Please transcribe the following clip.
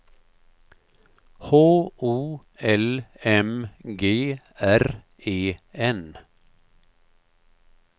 H O L M G R E N